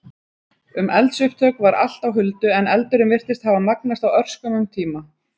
Um eldsupptök var allt á huldu, en eldurinn virtist hafa magnast á örskömmum tíma.